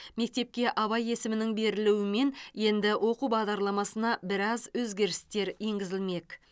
мектепке абай есімінің берілуімен енді оқу бағдарламасына біраз өзгерістер енгізілмек